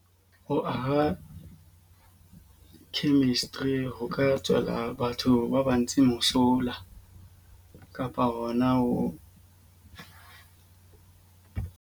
Ho aha chemistry ho ka tswela batho ba bantshi mosola kapa hona ho.